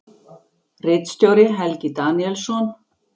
Ritstjóri: Helgi Daníelsson.